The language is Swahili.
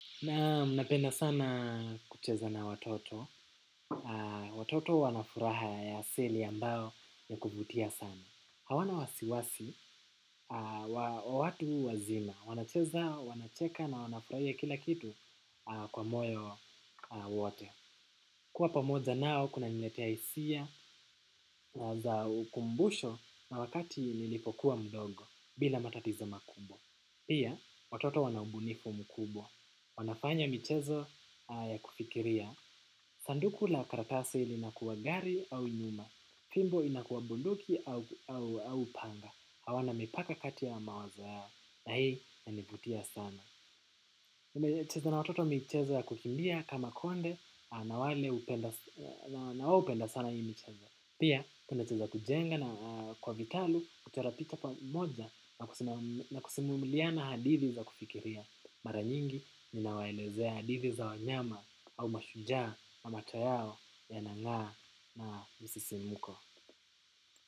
Naam napenda sana kucheza na watoto watoto wanafuraha ya asili ambayo yakuvutia sana. Hawana wasiwasi wa watu wazima. Wanacheza wanacheka na wanafurahia kila kitu kwa moyo wote. Kua pamoja nao kuna niletea hisia za ukumbusho na wakati nilipokuwa mdogo bila matatizo makubwa. Pia watoto wana ubunifu mkubwa. Wanafanya michezo ya kufikiria. Sanduku la karatasi linakuwa gari au nyumba. Fimbo inakuwa bunduki au panga. Hawana mipaka kati ya mawazo yao na hii inanivutia sana. Nimecheza na watoto michezo ya kukimbia kama konde na wao hupenda sana hii mchezo pia nimecheza kujenga na kwa vitalu kuterapika pamoja na kusimuliana hadithi za kufikiria. Mara nyingi ninawaelezea hadithi za wanyama au mashujaa na macho yao yanang'aa na msisimko.